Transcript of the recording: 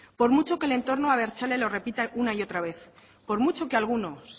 por mucho que el entorno abertzale lo repita una y otra vez por mucho que algunos